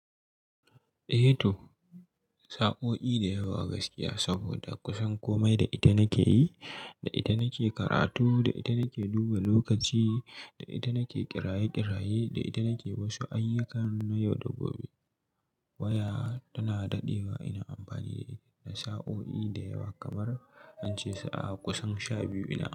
Eh to, sa'o'i da yawa gaskiya saboda kusan komai da ita nake yi, da ita nake karatu, da ita nake duba lokaci, da ita nake kiraye-kiraye, da ita nake wasu ayyukan na yau da gobe. Waya tana daɗewa ina amfani da ita, da sa'o'i da yawa kamar in ce sa'a kusan sha biyu ina amfani.